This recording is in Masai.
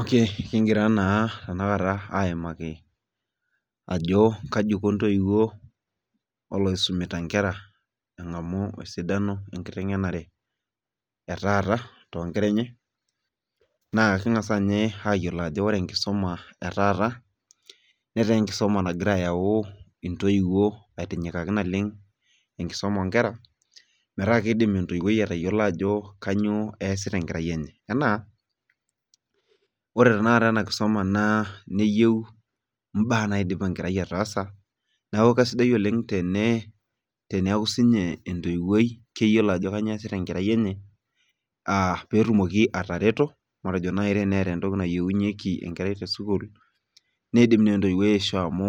okey kigira naa tenakata aaimaki ajo kaji Iko ntoiwuo naisumita nkera enkiteng'enare etaata too nkera enye. naa Keng'as ninye ayiolou ajo ore enkisuma etaata naa kegira aitinyakaki intoiwuo, naleng enkisuma oo nkera. metaa kidim entoiwuoi atayiolo ajo kainyioo eesita enkerai enye, anaa, ore tenakata ena kisuma neyieu imbaa naidipa enkerai ataasa. nesku kisidai oleng teneeku sii ninye entoiwuoi keyiolo ajo kainyioo eesita enkerai enye.aa peetumoki atareto. matejo naaji teenata entoki nayieunyeki enkerai te sukuul, neidim naa entoiwuoi aishoo amu